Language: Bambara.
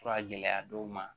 Fura gɛlɛya dɔw ma